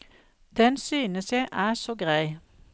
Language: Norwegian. Den synes jeg er så grei.